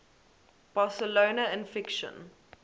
barcelona in fiction